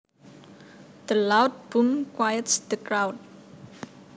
The loud boom quiets the crowd